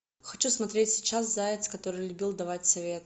хочу смотреть сейчас заяц который любил давать советы